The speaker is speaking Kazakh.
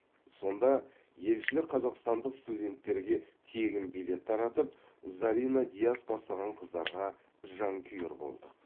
сонда елшілік қазақстандық студенттерге тегін билет таратып зарина диас бастаған қыздарға жанкүйер болдық